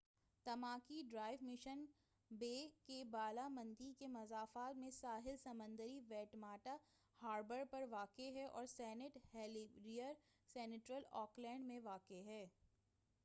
Tamaki Drive Mission Bay کے بالامنڈی کے مضافات میں ساحل سمندر ویٹماٹا ہاربر پر واقع ہے اور سینٹ ہیلیرز سنٹرل آکلینڈ میں واقع ہے